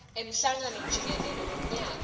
emhlangano jikelele wemnyaka